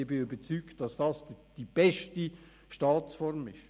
Ich bin überzeugt, dass dies die beste Staatsform ist.